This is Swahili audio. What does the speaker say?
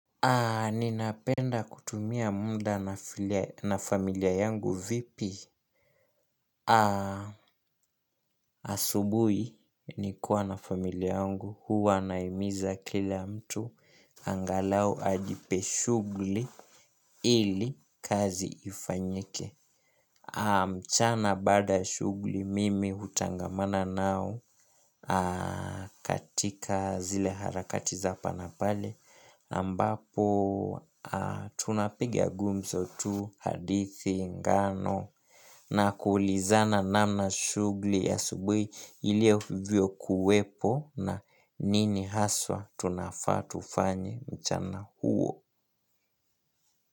Ni napenda kutumia muda na familia yangu vipi? Asubuhi nikuwa na familia yangu, huwa nahimiza kila mtu, angalau ajipe shughuli ili kazi ifanyike. Mchana bada shughuli mimi hutangamana nao katika zile harakati za hapa na pale. Ambapo tunapigia gumzo tu hadithi ngano na kuulizana namna shughuli ya asubuhi ilivyo kuwepo na nini haswa tunafatufanye mchana huo.